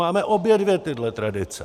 Máme obě dvě tyto tradice.